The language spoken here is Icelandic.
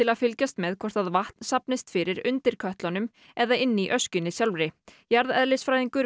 að fylgjast með hvort vatn safnist fyrir undir kötlunum eða inni í öskjunni sjálfri jarðeðlisfræðingur